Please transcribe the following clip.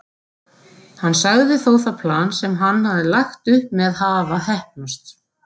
Hann sagði þó það plan sem hann hafði lagt upp með hafa heppnast.